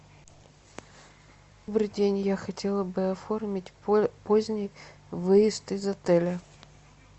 добрый день я хотела бы оформить поздний выезд из отеля